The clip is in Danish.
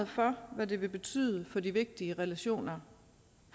for hvad det vil betyde for de vigtige relationer